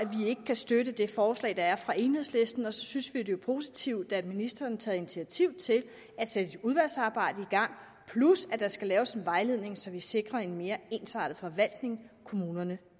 kan støtte det forslag der er fra enhedslisten og så synes vi det er positivt at ministeren tager initiativ til at sætte udvalgsarbejdet i gang plus at der skal laves en vejledning så vi sikrer en mere ensartet forvaltning kommunerne